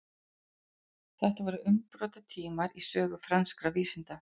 þetta voru umbrotatímar í sögu franskra vísinda